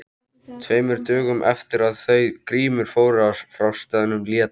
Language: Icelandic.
Tveimur dögum eftir að þau Grímur fóru frá staðnum lét